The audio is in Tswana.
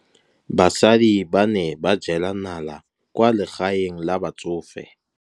Basadi ba ne ba jela nala kwaa legaeng la batsofe.